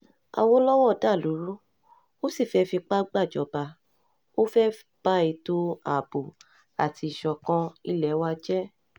àwòlọ́wọ́ dàlú rú ó sì fẹ́ẹ́ fipá gbàjọba ó fẹ́ẹ́ ba ètò ààbò àti ìṣọ̀kan ilé wa jẹ́